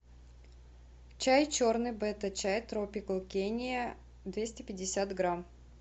чай черный бета чай тропикал кения двести пятьдесят грамм